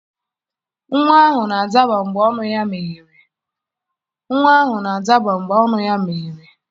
Nwa ahụ na-adaba mgbe ọnụ ya meghere.